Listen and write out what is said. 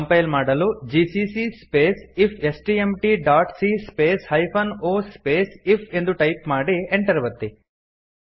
compile ಮಾಡಲು gccಸ್ಪೇಸ್ if S T M T dot c space hyphen O space ಇಫ್ಎಂದು type ಮಾಡಿ Enter ಒತ್ತಿ